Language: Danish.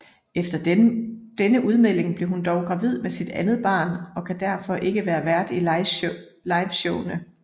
Efter denne udmelding blev hun dog gravid med sit andet barn og kan derfor ikke være vært i liveshowene